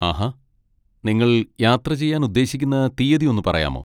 ആഹാ! നിങ്ങൾ യാത്ര ചെയ്യാൻ ഉദ്ദേശിക്കുന്ന തീയ്യതി ഒന്ന് പറയാമോ?